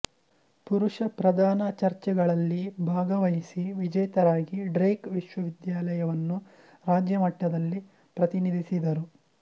ಪುರುಷ ಪ್ರಧಾನ ಚರ್ಚೆಗಳಲ್ಲಿ ಭಾಗವಹಿಸಿ ವಿಜೇತರಾಗಿ ಡ್ರೇಕ್ ವಿಶ್ವವಿದ್ಯಾಲಯವನ್ನು ರಾಜ್ಯಮಟ್ಟದಲ್ಲಿ ಪ್ರತಿನಿಧಿಸಿದರು